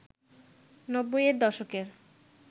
৯০-এর দশকের